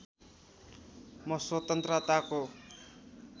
म स्वतन्त्रताको